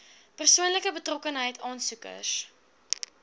persoonlike betrokkenheid aansoekers